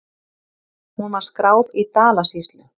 Hún var skráð í Dalasýslu.